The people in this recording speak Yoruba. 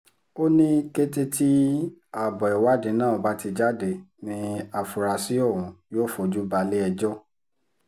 ó ní kété tí abo ìwádìí náà bá ti jáde ní àfúráṣí ọ̀hún yóò fojú balé-ẹjọ́